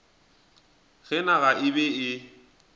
ge naga e be e